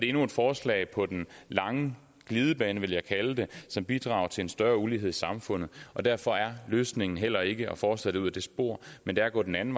endnu et forslag på den lange glidebane vil jeg kalde det som bidrager til en større ulighed i samfundet og derfor er løsningen heller ikke at fortsætte ud ad det spor men at gå den anden